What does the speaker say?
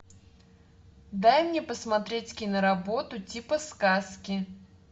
дай мне посмотреть киноработу типа сказки